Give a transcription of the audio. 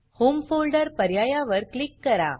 home folder पर्यायावर click करा